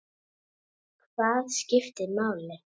Hvað skiptir máli?